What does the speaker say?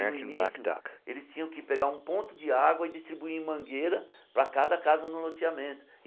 E no início, eles tinham que pegar um ponto de água e distribuir em mangueira para cada casa no loteamento.